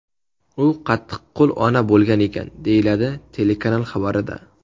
U qattiqqo‘l ona bo‘lgan ekan”, deyiladi telekanal xabarida.